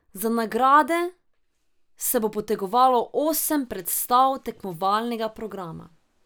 Za nagrade se bo potegovalo osem predstav tekmovalnega programa.